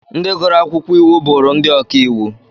Ndị gụrụ akwụkwọ iwu, bụrụ ndị ọka iwu.